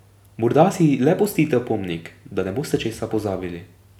Morda si le pustite opomnik, da ne boste česa pozabili.